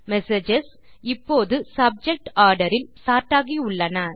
messages இப்போது subject order இல் sort ஆகியுள்ளன